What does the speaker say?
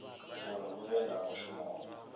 uri hu vhe na mushumo